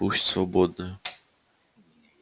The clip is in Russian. пусть свободная